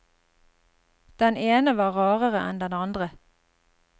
Den ene var rarere enn den andre.